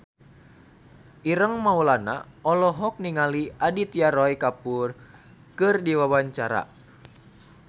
Ireng Maulana olohok ningali Aditya Roy Kapoor keur diwawancara